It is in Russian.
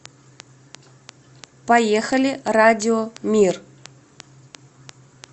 поехали радио мир